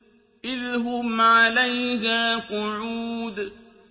إِذْ هُمْ عَلَيْهَا قُعُودٌ